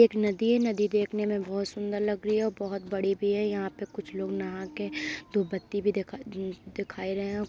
एक नदी है नदी देखने में बोहोत सुंदर लग रही है औ बहुत बड़ी भी है। यहाँ पे कुछ लोग नहा के धूप बत्ती भी देखा न्-देखाई रहे हैं।